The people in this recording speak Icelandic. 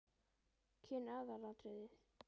Kyn aðalatriði?